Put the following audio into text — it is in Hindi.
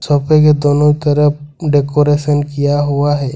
सोफे के दोनों तरफ डेकोरेशन किया हुआ है।